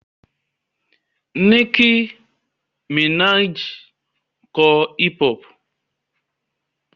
Nicki Minaj ń kọ hip-hop.